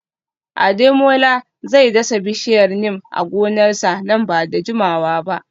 Ademola zai dasa bishiyar Neem a gonarsa nan ba da jimawa ba